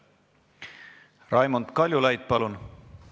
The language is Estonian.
Raimond Kaljulaid, palun!